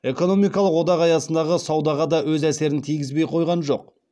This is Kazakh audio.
экономикалық одақ аясындағы саудаға да өз әсерін тигізбей қойған жоқ